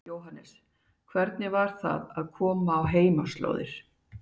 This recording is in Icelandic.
Jóhannes: Hvernig var það að koma á heimaslóðir?